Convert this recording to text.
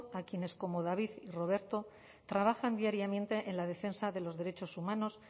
a quienes como david y roberto trabajan diariamente en la defensa de los derechos humanos